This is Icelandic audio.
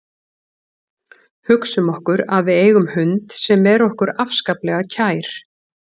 Hugsum okkur að við eigum hund sem er okkur afskaplega kær.